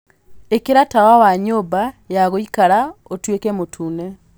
ĩkĩra tawa wa nyũmba ya gũikara ũtuĩke mũtune